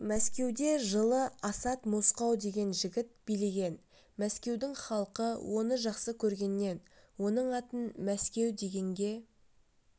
мәскеуде жылы асат мосқау деген жігіт билеген мәскеудің халқы оны жақсы көргеннен оның атын мәскеу дегенге